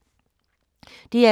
DR2